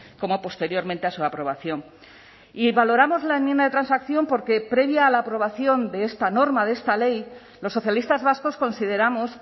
como posteriormente a su aprobación y valoramos la enmienda de transacción porque previa a la aprobación de esta norma de esta ley los socialistas vascos consideramos